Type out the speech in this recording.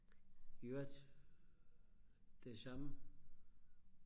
i øvrigt det samme